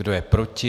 Kdo je proti?